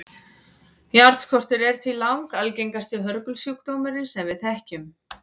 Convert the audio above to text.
járnskortur er því langalgengasti hörgulsjúkdómurinn sem við þekkjum